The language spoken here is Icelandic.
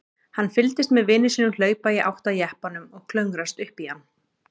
Hann fylgdist með vini sínum hlaupa í átt að jeppanum og klöngrast upp í hann.